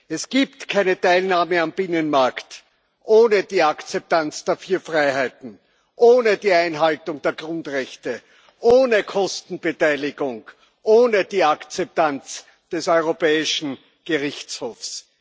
Es gibt keine Teilnahme am Binnenmarkt ohne die Akzeptanz der vier Freiheiten, ohne die Einhaltung der Grundrechte, ohne Kostenbeteiligung, ohne die Akzeptanz des Europäischen Gerichtshofs.